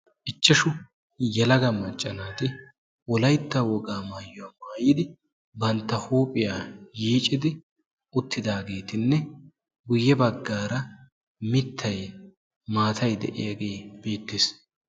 Ichchashshu yelaga maacca naati wolaytta wogaa maayuwaa maayidi bantta huuphphiyaa yiiccidi uttidaageti guye baggaara mittay maatay de'iyaagee beettees.